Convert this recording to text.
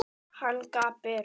Hann gapir.